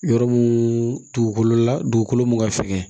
Yɔrɔ mun dugukolo la dugukolo mun ka fɛgɛn